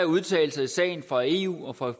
udtalelser i sagen fra eu og fra